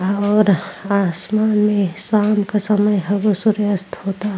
और आसमान में शाम क समय हउए सूर्यास्त होता।